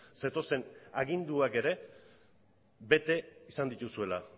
zetozen aginduak ere bete izan dituzuela